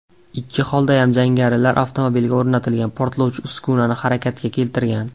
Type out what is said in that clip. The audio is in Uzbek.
Ikki holdayam jangarilar avtomobilga o‘rnatilgan portlovchi uskunani harakatga keltirgan.